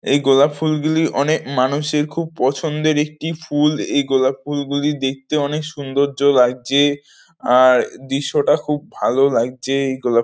এই গোলাপ ফুলগুলি অনেক মানুষের খুব পছন্দের একটি ফুল এই গোলাপ ফুলগুলি দেখতে অনেক সুন্দর্য লাগছে আর দৃশ্যটা খুব ভালো লাগছে এইগোলা--